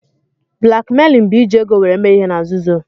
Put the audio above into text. Blakmeilin bụ iji ego were mee ihe na-nzuzo